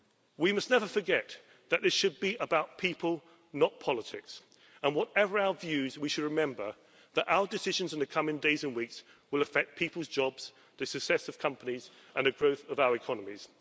We must never forget that this should be about people, not politics. Whatever our views, we should remember that our decisions in the coming days and weeks will affect people's jobs, the success of companies and the growth of our economies.